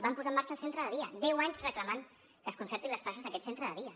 van posar en marxa el centre de dia deu anys reclamant que es concertin les places d’aquest centre de dia